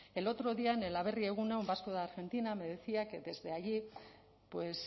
el otro día en el aberri eguna un vasco de argentina me decía que desde allí pues